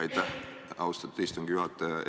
Aitäh, austatud istungi juhataja!